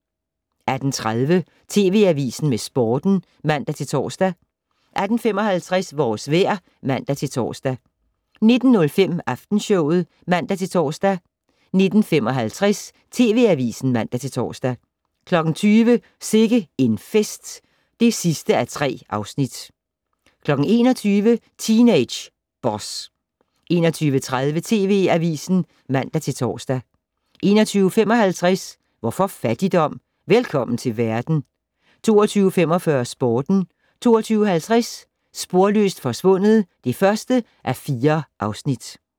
18:30: TV Avisen med Sporten (man-tor) 18:55: Vores vejr (man-tor) 19:05: Aftenshowet (man-tor) 19:55: TV Avisen (man-tor) 20:00: Sikke en fest (3:3) 21:00: Teenage Boss 21:30: TV Avisen (man-tor) 21:55: Hvorfor fattigdom? - Velkommen til verden 22:45: Sporten 22:50: Sporløst forsvundet (1:4)